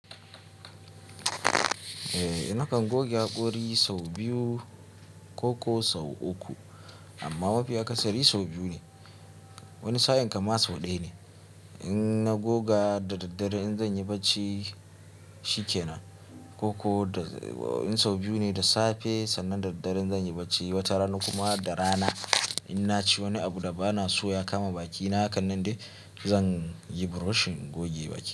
Eh, nakan goge hakori sau biyu koko sau uku amma mafiya kasari sau biyu ne. Wani sa'in kam ma sau ɗaya ne. In na goga da daddare in zan yi barci, shi ke nan. Ko ko in sau biyu ne da safe sannan da daddare in zan yi barci, wata rana kuma da rana. In na ci wani abu da ba na so ya kama bakina, hakanan de zan yi brushin in goge baki.